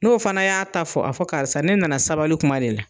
N'o fana y'a ta fɔ , a fɔ karisa ,ne nana sabali kuma de la.